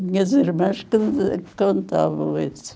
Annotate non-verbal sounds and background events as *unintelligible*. Minhas irmãs *unintelligible* contavam isso.